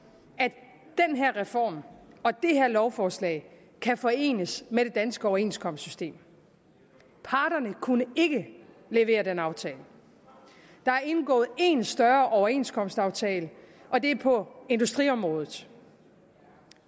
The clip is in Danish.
her reform og det her lovforslag kan forenes med det danske overenskomstsystem parterne kunne ikke levere den aftale der er indgået én større overenskomstaftale og det er på industriområdet